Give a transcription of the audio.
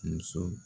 Muso